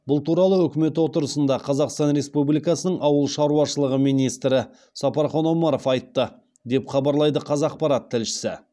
бұл туралы үкімет отырысында қазақстан республикасының ауыл шаруашылығы министрі сапархан омаров айтты деп хабарлайды қазақпарат тілшісі